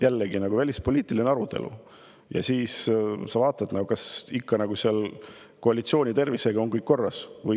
Jällegi, meil on välispoliitiline arutelu, ja siis sa vaatad, kas koalitsiooni tervisega on ikka kõik korras.